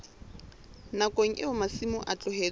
nakong eo masimo a tlohetsweng